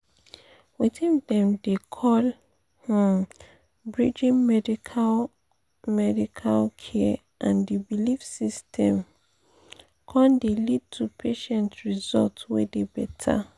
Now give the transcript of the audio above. weting dem dey call pause— um bridging pause medical pause medical care and the belief systems um dey lead to patient results wey dey better.